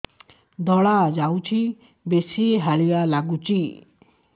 ଧଳା ଯାଉଛି ବେଶି ହାଲିଆ ଲାଗୁଚି